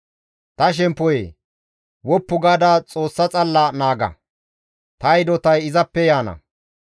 Ta shemppoyee! Woppu gaada Xoossa xalla naaga; taas hidotay izappe yaana.